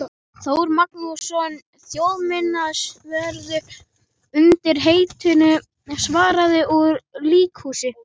Þór Magnússon þjóðminjavörð undir heitinu Svarað úr líkhúsi.